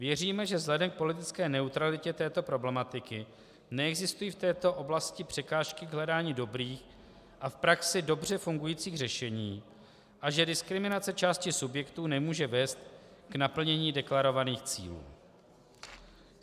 Věříme, že vzhledem k politické neutralitě této problematiky neexistují v této oblasti překážky k hledání dobrých a v praxi dobře fungujících řešení a že diskriminace části subjektů nemůže vést k naplnění deklarovaných cílů.